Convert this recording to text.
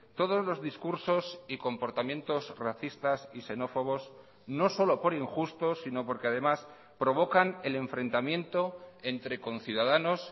todos los discursos y comportamientos racistas y xenófobos no solo por injustos sino porque además provocan el enfrentamiento entre conciudadanos